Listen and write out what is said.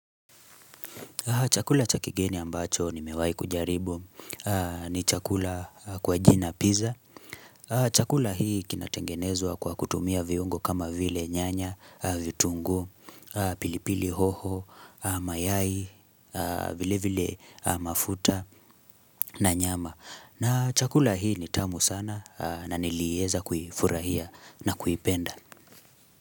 Chakula chakigeni ambacho ni mewahi kujaribu ni chakula kwa jina pizza. Chakula hii kinatengenezwa kwa kutumia viungo kama vile nyanya, vitungu, pilipili hoho, mayai, vile vile mafuta na nyama. Na chakula hii nitamu sana na nilieza kufurahia na kuipenda.